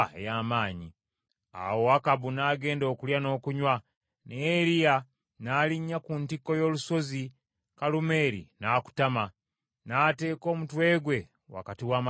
Awo Akabu n’agenda okulya n’okunywa, naye Eriya n’alinnya ku ntikko y’olusozi Kalumeeri, n’akutama, n’ateeka omutwe gwe wakati w’amaviivi ge.